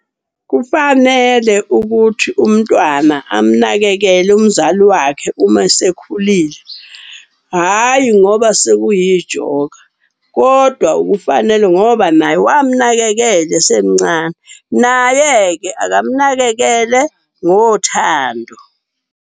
Kufanele ukuthi umntwana amunakekele umzali wakhe uma esekhulile. Hhayi ngoba sekuyijoka kodwa kufanele ngoba naye wamunakekela esemncane. Naye-ke akamunakekele ngothando.